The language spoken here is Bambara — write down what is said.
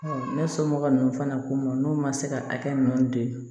ne somɔgɔ ninnu fana k'u ma n'u ma se ka hakɛ ninnu don